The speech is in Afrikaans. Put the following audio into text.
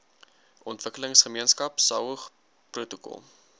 ontwikkelingsgemeenskap saog protokol